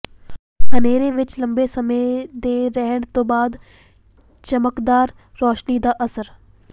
ਹਨੇਰੇ ਵਿਚ ਲੰਬੇ ਸਮੇਂ ਦੇ ਰਹਿਣ ਤੋਂ ਬਾਅਦ ਚਮਕਦਾਰ ਰੌਸ਼ਨੀ ਦਾ ਅਸਰ